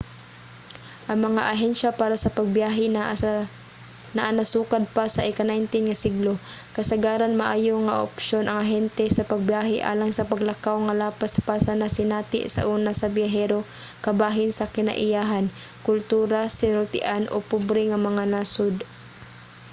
ang mga ahensiya para sa pagbiyahe naa na sukad pa sa ika-19 nga siglo. kasagaran maayo nga opsyon ang ahente sa pagbiyahe alang sa paglakaw nga lapas pa sa nasinati sauna sa biyahero kabahin sa kinaiyahan kultura sinultian o pobre nga mga nasud